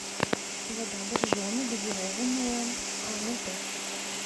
вода боржоми газированная ноль пять